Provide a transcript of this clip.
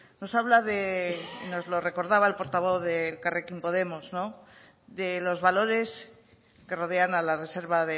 nos habla de nos lo recordaba el portavoz de elkarrekin podemos de los valores que rodean a la reserva